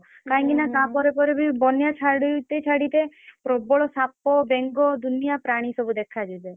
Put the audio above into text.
କାଇଁକି ନା ତା ପରେ ପରେ ବି ବନ୍ୟା ଛାଡିତେ ଛାଡିତେ ପ୍ରବଳ ସାପ ବେଙ୍ଗ ଦୁନିଆ ପ୍ରାଣୀ ସବୁ ଦେଖା ଯିବେ।